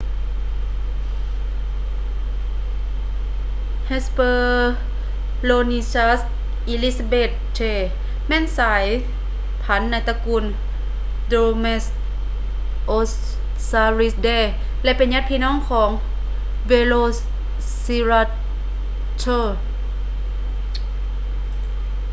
hesperonychus elizabethae ແມ່ນສາຍພັນໃນຕະກູນ dromaeosauridae ແລະ ເປັນຍາດພີ່ນ້ອງຂອງ velociraptor